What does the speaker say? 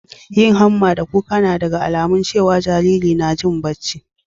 yin hamma da kuka na daga alamun cewa Jariri na Jin bacci